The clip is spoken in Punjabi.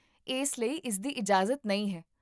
ਇਸ ਲਈ ਇਸ ਦੀ ਇਜਾਜ਼ਤ ਨਹੀਂ ਹੈ